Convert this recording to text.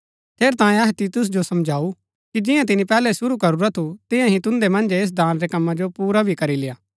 ठेरैतांये अहै तीतुस जो समझाऊ कि जियां तिनी पैहलै शुरू करूरा थु तियां ही तुन्दै मन्जै ऐस दान रै कम्मा जो पुरा भी करी लेय्आ